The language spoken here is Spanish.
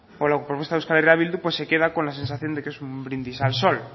la propuesta de euskal herria bildu pues se queda con la sensación de qué es un brindis al sol